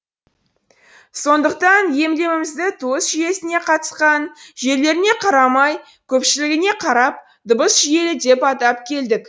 сондықтан емлемізді туыс жүйесіне қатысқан жерлеріне қарамай көпшілігіне қарап дыбыс жүйелі деп атап келдік